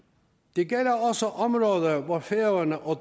det gælder også områder hvor færøerne og